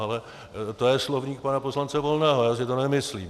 Ale to je slovník pana poslance Volného, já si to nemyslím.